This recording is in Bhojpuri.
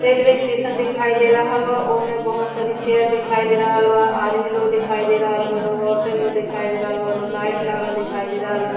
रेलवे स्टेशन देखाई दे रहल बा। ओमे बहोत सारी चेयर देखाई दे रहल बा। आदमी लो देखाई दे रहल बा लो। औरते लो देखाई दे रहल बा लो। लाइट लागल देखाई दे रहल बा।